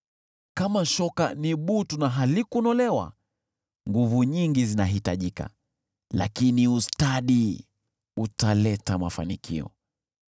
Kama shoka ni butu na halikunolewa, nguvu nyingi zinahitajika, lakini ustadi utaleta mafanikio.